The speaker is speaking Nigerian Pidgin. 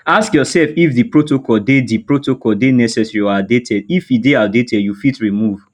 ask yourself if di protocol dey di protocol dey necessary or outdated if e dey outdated you fit remove